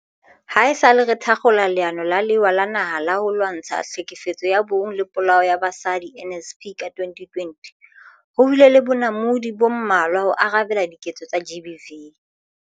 Haesale re thakgola Leano la Lewa la Naha la ho Lwantsha Tlhekefetso ya Bong le Polao ya Basadi, NSP, ka 2020, ho bile le bonamodi bo mmalwa ho arabela diketso tsa GBV.